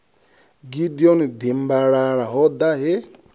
gideon dimbalala ho ḓa he